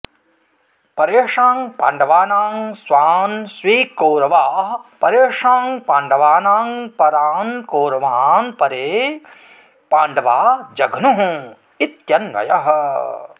परेषां पाण्डवानां स्वान् स्वे कौरवाः परेषां पाण्डवानां परान् कौरवान् परे पाण्डवा जघ्नुरित्यन्वयः